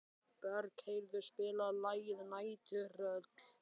Bergheiður, spilaðu lagið „Næturrölt“.